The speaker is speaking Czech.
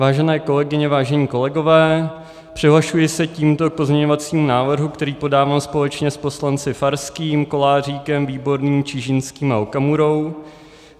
Vážené kolegyně, vážení kolegové, přihlašuji se tímto k pozměňovacímu návrhu, který podávám společně s poslanci Farským, Koláříkem, Výborným, Čižinským a Okamurou.